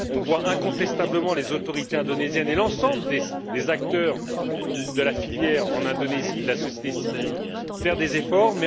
on voit incontestablement les autorités indonésiennes et l'ensemble des acteurs de la filière en Indonésie et de la société civile faire des efforts.